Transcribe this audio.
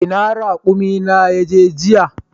Ina raƙumi na ya je jiya?